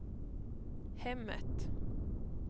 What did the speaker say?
hemmet